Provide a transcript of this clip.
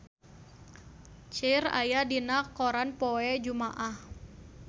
Cher aya dina koran poe Jumaah